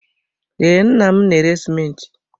Ee, nna m na-ere sịmentị.